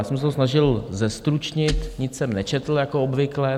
Já jsem se to snažil zestručnit, nic jsem nečetl, jako obvykle.